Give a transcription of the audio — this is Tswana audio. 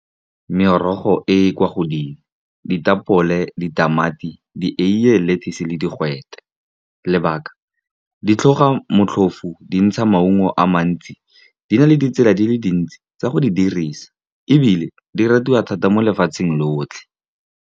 Merogo e e kwa godimo, ditapole, ditamati, dieiye, lettuce le digwete. Lebaka ke gore di tlhoga motlhofo, dintsha, maungo a mantsi a na le ditsela di le dintsi tsa go a dirisa, ebile a ratiwa thata mo lefatsheng lotlhe.